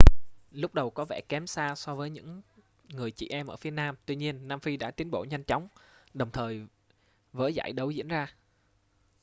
lúc đầu có vẻ kém xa so với những người chị em ở phía nam tuy nhiên nam phi đã tiến bộ nhanh chóng đồng thời với giải đấu diễn ra